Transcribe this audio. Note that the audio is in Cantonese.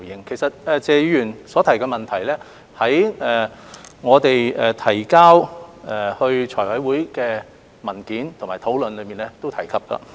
其實，謝議員所提的問題，於我們在財務委員會審議有關文件的討論當中亦有提及。